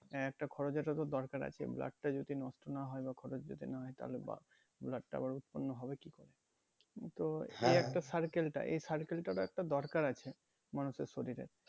হ্যাঁ একটা খরচের তো দরকার আছে blood টা যদি নষ্ট না হয় বা খরচ যদি না হয় তাহলে বা~ blood টা আবার উৎপন্ন হবে কি করে তো একটা circle টা এই circle টার ও একটা দরকার আছে মানুষের শরীরে